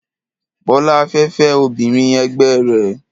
Bọ́lá fẹ́ fẹ́ obìnrin ẹgbẹ́ rẹ̀.